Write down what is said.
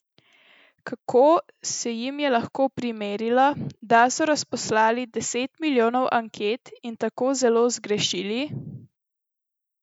Kako se jim je lahko primerilo, da so razposlali deset milijonov anket in tako zelo zgrešili?